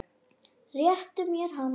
Réttu mér hana